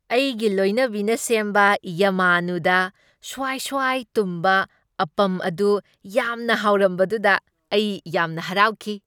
ꯑꯩꯒꯤ ꯂꯣꯏꯅꯕꯤꯅ ꯁꯦꯝꯕ ꯌꯥꯃꯥꯅꯨꯗ ꯁꯨꯋꯥꯏ ꯁꯨꯋꯥꯏ ꯇꯨꯝꯕ ꯑꯞꯄꯝ ꯑꯗꯨ ꯌꯥꯝꯅ ꯍꯥꯎꯔꯝꯕꯗꯨꯗ ꯑꯩ ꯌꯥꯝꯅ ꯍꯔꯥꯎꯈꯤ ꯫